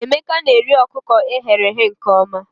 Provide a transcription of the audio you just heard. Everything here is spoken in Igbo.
Emeka na-eri ọkụkọ e ghere eghe nke ọma